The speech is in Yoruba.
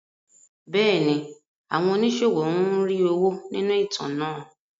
Bẹ́ẹ̀ni, àwọn oníṣòwò ń rí owó nínú ìtàn náà.